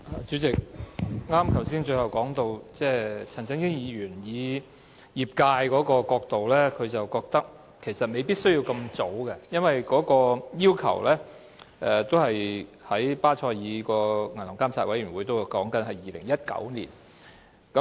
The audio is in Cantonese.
主席，我剛才最後談到，陳振英議員以業界的角度來看，認為其實未必需要那麼早通過《條例草案》，因為巴塞爾銀行監管委員會的要求是在2019年落實新監管框架。